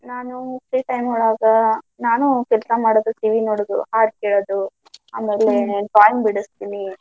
ನಾನು free time ಒಳಗ್ ನಾನು ಕೆಲ್ಸಾ ಮಾಡುದು, TV ನೋಡುದು, ಹಾಡ್ ಕೇಳೋದು drawing ಬಿಡಸ್ತೀನಿ.